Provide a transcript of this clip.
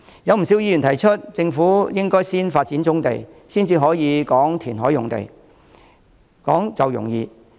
有不少議員提出，政府應該先發展棕地，再談填海用地。